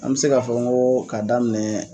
An bi se k'a fɔ ko k'a daminɛ